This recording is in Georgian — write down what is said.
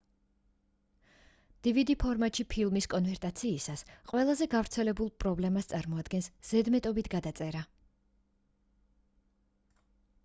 dvd ფორმატში ფილმის კონვერტაციისას ყველაზე გავრცელებულ პრობლემას წარმოადგენს ზედმეტობით გადაწერა